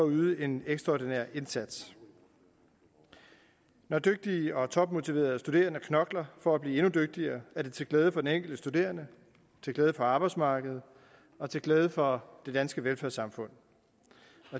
yde en ekstraordinær indsats når dygtige og topmotiverede studerende knokler for at blive endnu dygtigere er det til glæde for den enkelte studerende til glæde for arbejdsmarkedet og til glæde for det danske velfærdssamfund